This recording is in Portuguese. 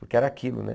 Porque era aquilo, né?